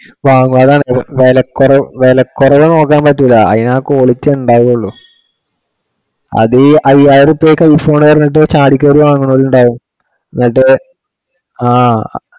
അപ്പം അതാണ് വിലക്കുറ~ വിലക്കുറവ് നോക്കാൻ പറ്റൂല്ല അതിനാ quality ഉണ്ടാവുകെ ഉള്ളു. അതി ഐയ്യയിരം റുപ്യാ ഒക്കെ i phone ആ വെച്ചിട്ട് ചാടി ക്കേറി വാങ്ങുണോരുണ്ട് എന്നിട്ടു അഹ്